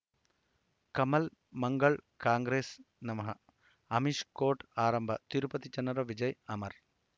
ಕಮಲ್ ಮಂಗಳ್ ಕಾಂಗ್ರೆಸ್ ನಮಃ ಅಮಿಷ್ ಕೋರ್ಟ್ ಆರಂಭ ತಿರುಪತಿ ಜನರ ವಿಜಯ ಅಮರ್